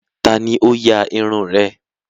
Ta ni ó ya irun rẹ̀?